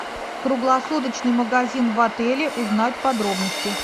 круглосуточный магазин в отеле узнать подробности